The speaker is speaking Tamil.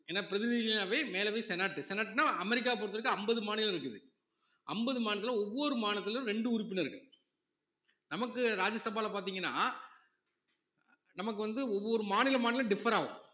ஏன்னா பிரதிநிதினாவே மேலவை senate, senate னா அமெரிக்காவை பொறுத்தவரைக்கும் அம்பது மாநிலம் இருக்குது அம்பது மாநிலத்தில ஒவ்வொரு மாநிலத்தில ரெண்டு உறுப்பினர்கள் நமக்கு ராஜ்யசபால பார்த்தீங்கன்னா நமக்கு வந்து ஒவ்வொரு மாநிலம் மாநிலம் differ ஆகும்